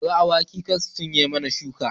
Kori awakai kar su cinye mana shuka